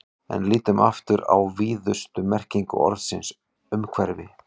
En lítum aftur á víðustu merkingu orðsins umhverfi.